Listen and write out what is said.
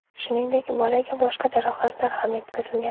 Shuningdek, bolaga boshqa jarohatlar ham yetkazilgan.